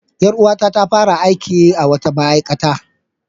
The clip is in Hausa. Ƴar uwata ta fara aiki a wata ma'aikata.